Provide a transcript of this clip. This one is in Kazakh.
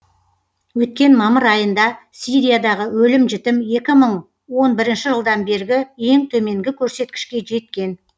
өткен мамыр айында сириядағы өлім жітім екі мың он бірінші жылдан бергі ең төменгі көрсеткішке жеткен